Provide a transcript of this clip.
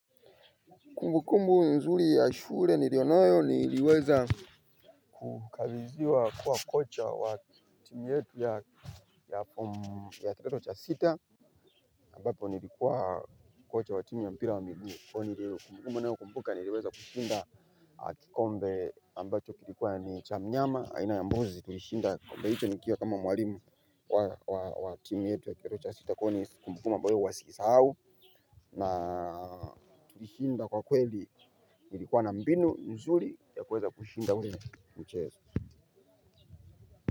Kumbukumbu nzuri ya shule nilio nayo niliweza kukabidhiwa kuwa kocha wa timu yetu ya kidato cha sita ambapo nilikuwa kocha wa timu ya mpira wa miguu. Kwa hiyo kumbukumbu ninayo kumbuka niliweza kushinda kikombe ambacho kilikuwa ni cha mnyama aina ya mbuzi tulishinda kikombe hicho nikiwa kama mwalimu wa timu yetu ya kidato cha sita kwa hiyo ni kumbukumbu ambayo huwa siisahau na tulishinda kwa kweli ilikuwa na mbinu nzuri ya kuweza kuushinda ule mchezo.